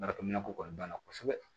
Baarakɛminɛ ko kɔni banna kosɛbɛ